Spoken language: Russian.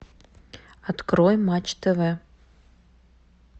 открой матч тв